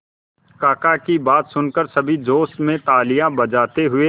काका की बात सुनकर सभी जोश में तालियां बजाते हुए